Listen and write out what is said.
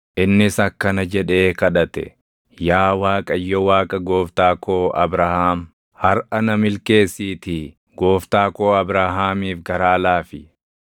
Innis akkana jedhee kadhate; “Yaa Waaqayyo Waaqa gooftaa koo Abrahaam, harʼa na milkeessiitii gooftaa koo Abrahaamiif garaa laafi.